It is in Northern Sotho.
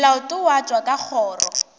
molato wa tšwa ka kgoro